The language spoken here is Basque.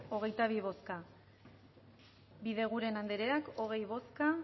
hogeitabi bozka bideguren andrea hogei bozka